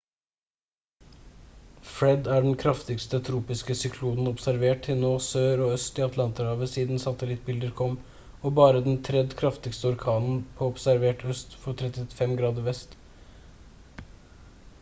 fred er den kraftigste tropiske syklonen observert til nå sør og øst i atlanterhavet siden satellittbilder kom og bare den 3. kraftigste orkanen på observert øst for 35 grader vest